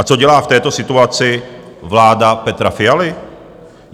A co dělá v této situaci vláda Petra Fialy?